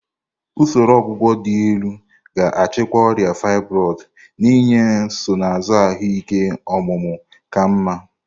Usoro ọgwụgwọ dị elu ga-achịkwa ọrịa fibroid, na-enye nsonaazụ ahụike ọmụmụ ka mma.